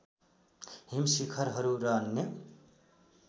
हिम शिखरहरू र अन्य